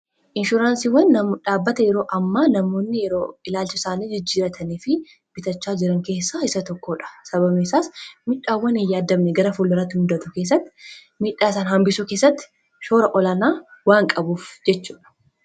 Inshuransiiwwan dhaabbata yeroo amma namoonni yeroo ilaalcha isaanii jijjiiratanii fi bitachaa jiran keessaa isa tokkoodha sababni isaas miidhaawwan hin yaadamne gara fuula duratti muudatu keessatti midhaa isaan hambisuu keessatti shoora olaana waan qabuuf jechuudha.